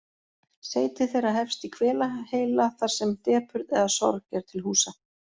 Seyti þeirra hefst í hvelaheila þar sem depurð eða sorg er til húsa.